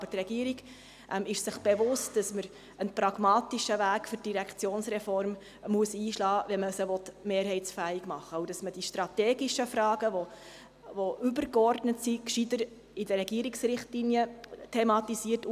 Aber die Regierung ist sich bewusst, dass man für die Direktionsreform einen pragmatischen Weg einschlagen muss, wenn man sie mehrheitsfähig machen will, und dass man die übergeordneten strategischen Fragen gescheiter in den Regierungsrichtlinien thematisiert.